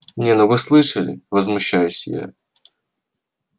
нет ну вы слышали возмущаюсь я